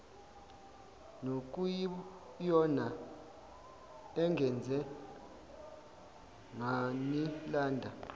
nokuyiyona engenze nganilanda